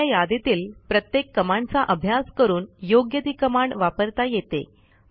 दिलेल्या यादीतील प्रत्येक कमांडचा अभ्यास करून योग्य ती कमांड वापरता येते